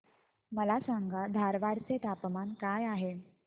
मला सांगा धारवाड चे तापमान काय आहे